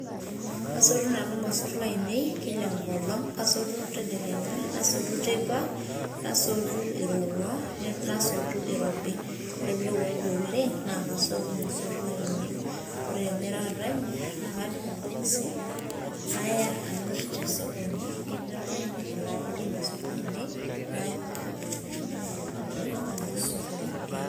Asotu nanu irmosor lainei kila enkolong',kasotu tedekenya, nasotu teipa, nasotu irowua, nasotu irobi. Ore pe irowuaju oleng',nakasotu irmosor lainei. Ore emirita enye, nakapik irbokisi, naya namir tesokoni, ketii oltung'ani oshi layaki irmosor lainei,[] ilunkuni ormosor lenye.